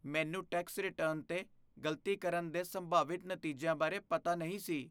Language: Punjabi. ਮੈਨੂੰ ਟੈਕਸ ਰਿਟਰਨ 'ਤੇ ਗ਼ਲਤੀ ਕਰਨ ਦੇ ਸੰਭਾਵਿਤ ਨਤੀਜਿਆਂ ਬਾਰੇ ਪਤਾ ਨਹੀਂ ਸੀ।